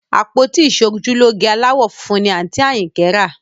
Àpótí ìṣojúlóge aláwọ̀ funfun ni àǹtí Àyìnkẹ́ rà